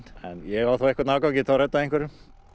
en ég á þá einhvern afgang og get reddað einhverjum